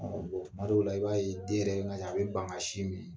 Tuma dɔw la i b'a ye den yɛrɛ, n ka cɛ, a bɛ ban ka sin min